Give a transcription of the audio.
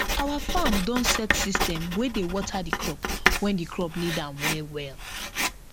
our farm don set system wey dey water the crop when the crop need am well well